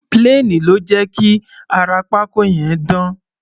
Plane ló jẹ́ kí ara pákó yẹn dán.